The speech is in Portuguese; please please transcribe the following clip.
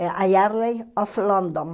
a Yardley of London.